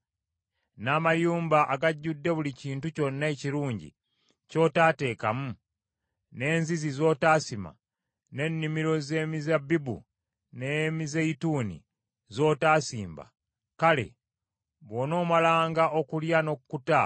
n’amayumba agajjudde buli kintu kyonna ekirungi, ky’otaateekamu, n’enzizi z’otaasima, n’ennimiro z’emizabbibu n’emizeeyituuni z’otaasimba; kale, bw’onoomalanga okulya n’okkuta,